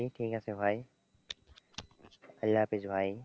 ঠিক আছে ভাই আল্লাহ হাফেজ ভাই।